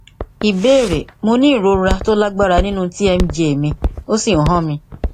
ìbéèrè mo ní ìrora tó lágbára nínú tmj mi ó sì ń hán mi